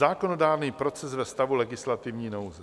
Zákonodárný proces ve stavu legislativní nouze.